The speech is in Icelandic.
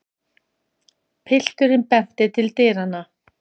Pilturinn benti til dyranna.